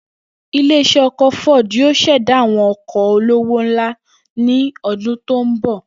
Ilé is̩é̩ o̩kò̩ Ford yóò s̩è̩dá àwo̩n o̩kò̩ olówó ńlá ní o̩dún tó ń bò̩